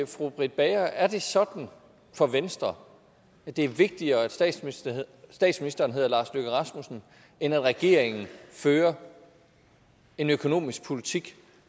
fru britt bager er det sådan for venstre at det er vigtigere at statsministeren statsministeren hedder lars løkke rasmussen end at regeringen fører en økonomisk politik